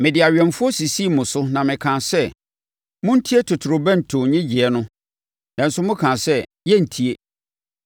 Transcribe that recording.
Mede awɛmfoɔ sisii mo so na mekaa sɛ, ‘Montie totorobɛnto nnyegyeeɛ no!’ Nanso, mokaa sɛ, ‘Yɛrentie.’